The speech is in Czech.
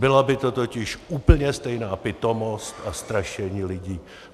Byla by to totiž úplně stejná pitomost a strašení lidí.